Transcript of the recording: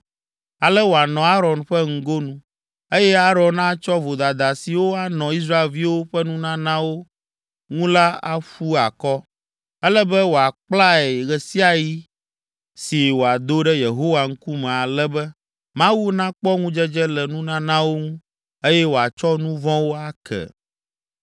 Ale wòanɔ Aron ƒe ŋgonu, eye Aron atsɔ vodada siwo anɔ Israelviwo ƒe nunanawo ŋu la aƒu akɔ. Ele be wòakplae ɣe sia ɣi si wòado ɖe Yehowa ŋkume ale be, Mawu nakpɔ ŋudzedze le nunanawo ŋu, eye wòatsɔ nu vɔ̃wo ake.